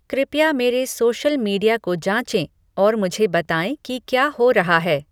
कृपया मेरे social media को जाँचें और मुझे बताएँ कि क्या हो रहा है